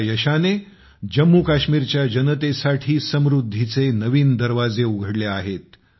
या यशाने जम्मू काश्मीरच्या जनतेसाठी समृद्धीचे नवीन दरवाजे उघडले आहेत